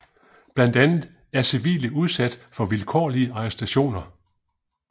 Blandt andet er civile udsat for vilkårlige arrestationer